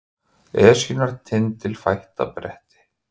Esjunnar tindilfætta bretti